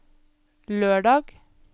lørdag